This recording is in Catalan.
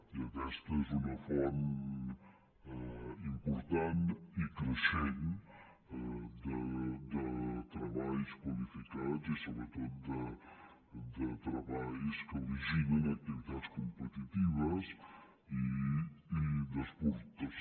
i aquesta és una font important i creixent de treballs qualificats i sobretot de treballs que originen activitats competitives i d’exportació